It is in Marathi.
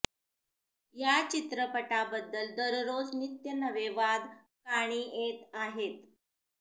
या चित्रपटाबद्दल दररोज नित्य नवे वाद कानी येत आहेत